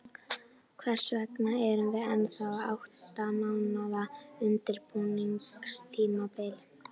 Hvers vegna erum við ennþá með átta mánaða undirbúningstímabil?